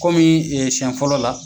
Kɔmi siyɛn fɔlɔ la